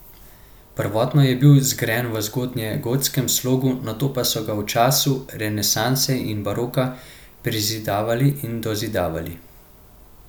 Prvotno je bil zgrajen v zgodnjegotskem slogu, nato pa so ga v času renesanse in baroka prezidavali in dozidavali.